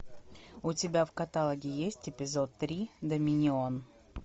у тебя в каталоге есть эпизод три доминион